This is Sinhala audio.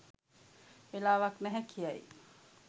වෙලාවක් නැහැ කියයි